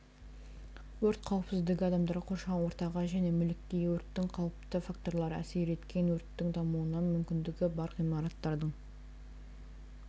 өрт қауіпсіздігі адамдарға қоршаған ортаға және мүлікке өрттің қауіпті факторлары әсер еткен өрттің дамуына мүмкіндігі бар ғимараттардың